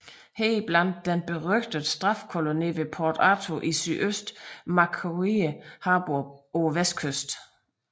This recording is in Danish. Heriblandt den berygtede straffekoloni ved Port Arthur i sydøst og Macquarie Harbour på vestkysten